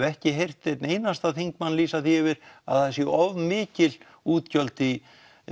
ekki heyrt einn einasta þingmann lýsa því yfir að það séu of mikil útgjöld í